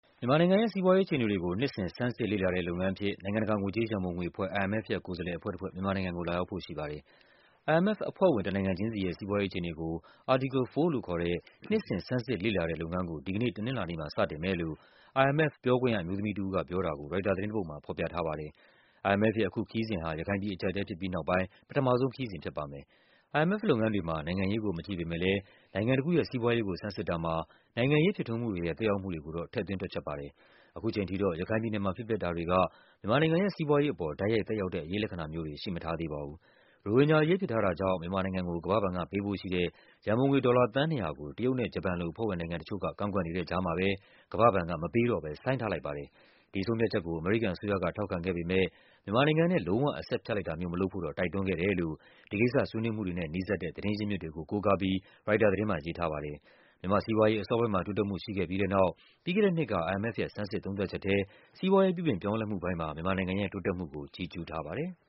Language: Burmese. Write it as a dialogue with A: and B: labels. A: မြန်မာနိုင်ငံရဲ့ စီးပွားရေးအခြေအနေတွေကို နှစ်စဉ် ဆန်းစစ်လေ့လာတဲ့လုပ်ငန်းအဖြစ် နိုင်ငံတကာ ငွေကြေးရန်ပုံငွေအဖွဲ့ IMF ရဲ့ ကိုယ်စားလှယ်အဖွဲ့တဖွဲ့ မြန်မာနိုင်ငံကို လာရောက်ဖို့ရှိပါတယ်။ IMF အဖွဲ့ဝင် တနိုင်ငံချင်းစီရဲ့ စီးပွားရေးအခြေအနေကို Article 4 လို့ခေါ်တဲ့ နှစ်စဉ် ဆန်းစစ်လေ့လာတဲ့လုပ်ငန်းကို ဒီကနေ့ တနင်္လာနေ့မှာ စတင်မယ်လို့ IMF ပြောခွင့်ရအမျိုးသမီးတဦးက ပြောတာကို ရိုက်တာသတင်းတပုဒ်မှာ ဖော်ပြထားပါတယ်။ IMF ရဲ့ အခုခရီးစဉ်ဟာ ရခိုင်ပြည်အကျပ်အတည်းဖြစ်ပြီးနောက်ပိုင်း ပထမဆုံးခရီးစဉ်ဖြစ်ပါတယ်။ IMF လုပ်ငန်းတွေမှာ နိုင်ငံရေးကို မကြည့်ပေမဲ့လဲ နိုင်ငံတခုရဲ့ စီးပွားရေးကိုဆန်းစစ်တာမှာ နိုင်ငံရေးဖြစ်ထွန်းမှုတွေရဲ့ သက်ရောက်မှုတွေကိုတော့ ထည့်သွင်းတွက်ချက်ပါတယ်။ အခုချိန်ထိတော့ ရခိုင်ပြည်နယ်မှာ ဖြစ်ပျက်တာတွေက မြန်မာနိုင်ငံရဲ့ စီးပွားရေးအပေါ် တိုက်ရိုက်သက်ရောက်တဲ့ အရိပ်လက္ခဏာမျိုးတွေ ရှိမထားပါဘူး။ ရိုဟင်ဂျာအရေး ဖြစ်ထားတာကြောင့် မြန်မာနိုင်ငံကို ကမ္ဘာ့ဘဏ်ကပေးဖို့ရှိတဲ့ ရန်ပုံငွေ ဒေါ်လာ သန်း ၂၀၀ ကို တရုတ်နဲ့ ဂျပန်လို အဖွဲ့ဝင်နိုင်ငံတချို့က ကန့်ကွက်နေတဲ့ကြားမှာပဲ ကမ္ဘာ့ဘဏ်က မပေးတော့ဘဲ ဆိုင်းထားလိုက်ပါတယ်။ ဒီဆုံးဖြတ်ချက်ကို အမေရိကန်အစိုးရက ထောက်ခံခဲ့ပေမဲ့ မြန်မာနိုင်ငံနဲ့ လုံး၀ အဆက်ဖြတ်လိုက်တာမျိုး မလုပ်ဖို့တော့ တိုက်တွန်း ခဲ့တယ်လို့ ဒီကိစ္စဆွေးနွေးမှုတွေနဲ့ နီးစပ်တဲ့ သတင်းရင်းမြစ်တွေကို ကိုးကားပြီး ရိုက်တာသတင်းမှာ ရေးထားပါတယ်။ မြန်မာ့စီးပွားရေး အစောပိုင်းမှာ တိုးတက်မှုရှိခဲ့ပြီးတဲ့နောက် ပြီးခဲ့တဲ့နှစ်က IMF ရဲ့ ဆန်းစစ် သုံးသပ်ချက်ထဲ စီးပွားရေးပြုပြင် ပြောင်းလဲမှုပိုင်းမှာ မြန်မာနိုင်ငံရဲ့ တိုးတက်မှုကို ချီးကျူးထားပါတယ်။